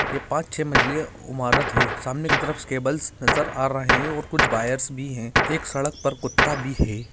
ये पाँच छ मंजिल इमारत है सामने की तरफ केबल्स नजर आ रहे है और कुछ वायर भी है एक सड़क पर कुत्ता भी है।